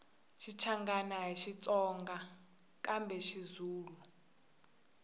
xichangani ahi xitsonga kambe xizulu